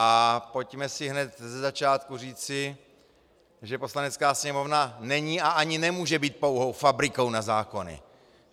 A pojďme si hned ze začátku říci, že Poslanecká sněmovna není a ani nemůže být pouhou fabrikou na zákony!